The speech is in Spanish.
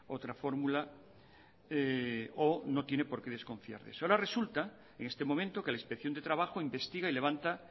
otra fórmula o no tiene por qué desconfiar de eso ahora resulta en este momento que la inspección de trabajo investiga y levanta